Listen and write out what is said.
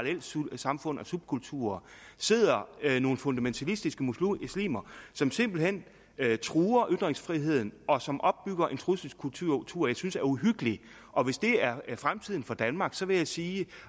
subkulturer sidder nogle fundamentalistiske muslimer muslimer som simpelt hen truer ytringsfriheden og som opbygger en trusselskultur jeg synes er uhyggelig og hvis det er fremtiden for danmark så vil jeg sige